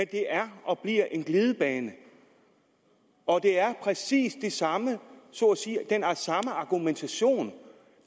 det er og bliver en glidebane og det er præcis den samme argumentation